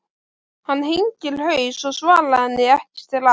Hann hengir haus og svarar henni ekki strax.